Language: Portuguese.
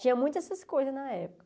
Tinha muitas essas coisas na época.